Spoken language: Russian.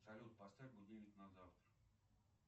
салют поставь будильник на завтра